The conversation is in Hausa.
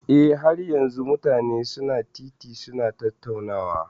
Eh, har yanzun mutane su na titi su na tattaunawa.